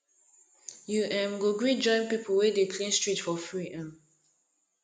you um go gree join pipu wey dey clean street for free um